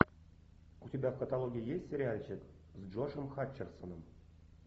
у тебя в каталоге есть сериальчик с джошем хатчерсоном